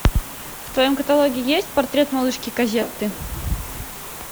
в твоем каталоге есть портрет малышки козетты